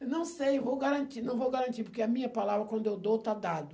Eu não sei, eu vou garantir, não vou garantir, porque a minha palavra, quando eu dou, está dada.